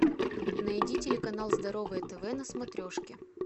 найди телеканал здоровое тв на смотрешке